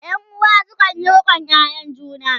ƴan uwa sukanyi riƙon ƴaƴan juna